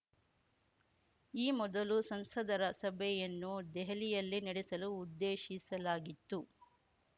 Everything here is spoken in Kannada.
ಈ ಮೊದಲು ಸಂಸದರ ಸಭೆಯನ್ನು ದೆಹಲಿಯಲ್ಲೇ ನಡೆಸಲು ಉದ್ದೇಶಿಸಲಾಗಿತ್ತು